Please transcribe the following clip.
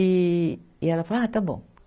E, e ela falou, ah, está bom.